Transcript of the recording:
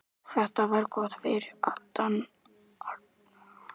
Þetta var gott fyrir andann og komandi baráttu.